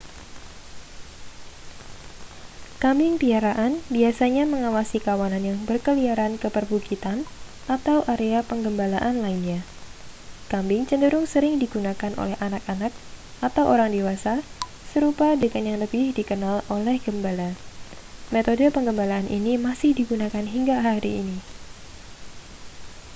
kambing piaraan biasanya mengawasi kawanan yang berkeliaran ke perbukitan atau area penggembalaan lainnya kambing cenderung sering digunakan oleh anak-anak atau orang dewasa serupa dengan yang lebih dikenal oleh gembala metode penggembalaan ini masih digunakan hingga hari ini